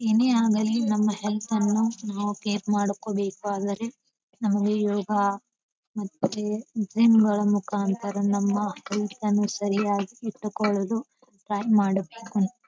ಏನೇಯಾಗಲಿ ನಮ್ಮ ಹೆಲ್ಥ್ ಅನ್ನು ನಾವು ಕೇರ್ ಮಾಡ್ಕೋಬೇಕಾದರೆ ನಮಗೆ ಯೋಗ ಮತ್ತು ಜಿಮ್ ಗಳ ಮುಖಾಂತರ ನಮ್ಮ ಹೆಲ್ಥ್ ಅನ್ನು ಸರಿಯಾಗಿ ಇಟ್ಟುಕೊಳ್ಳಲು ಪ್ಲಾನ್ ಮಾಡಬೇಕು.